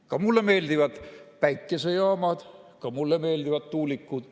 Ka mulle meeldivad päikesejaamad, ka mulle meeldivad tuulikud.